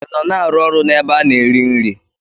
I nọ na-arụ ọrụ n'ebe a na-ere nri?